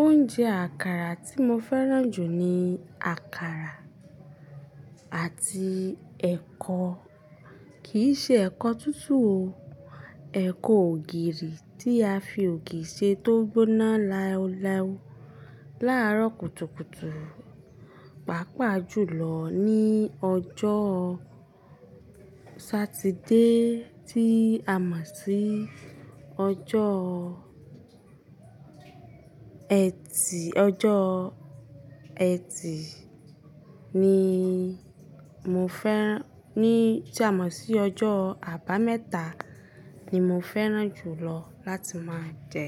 Oúnjẹ àkàrà tí mo fẹ́ràn jù ni àkàrà àti ẹ̀kọ, kì í ṣe ẹ̀kọ̀ tútù o. Ẹ̀kọ̀ ògìrì tí a fi ògì ṣe tó gbóná láwùláwù láàárọ̀ kùtùkùtù, pàápàá jùlọ ní ọjọ́ Saturday tí a mọ̀ sí ọjọ́ Eti, ọjọ́ Eti ni mo fẹ́ran-- ní tí a mọ̀ sí ọjọ́ àbámẹ́ta ni mo fẹ́ràn jùlọ láti máa jẹ.